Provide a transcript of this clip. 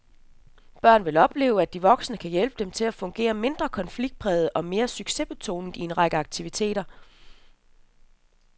Børnene vil opleve, at de voksne kan hjælpe dem til at fungere mindre konfliktpræget og mere succesbetonet i en række aktiviteter.